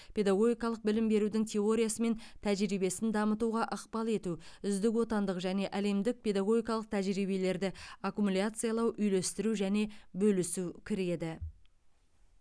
педагогикалық білім берудің теориясы мен тәжірибесін дамытуға ықпал ету үздік отандық және әлемдік педагогикалық тәжірибелерді аккумуляциялау үйлестіру және бөлісу кіреді